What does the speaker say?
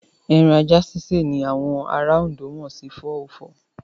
Ẹran ajá sísè ni àwọn ará Ondo mọ̀ sí 404.